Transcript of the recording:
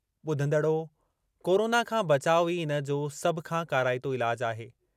ॿुधंदड़ो, corona खां बचाउ ई इन जो सभ खां काराइतो इलाजु आहे।